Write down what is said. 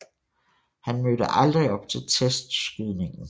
Han mødte aldrig op til testskydningen